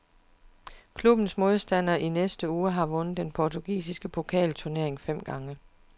Klubbens modstander i næste uge har vundet den portugisiske pokalturnering fem gange.